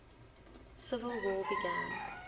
civil war began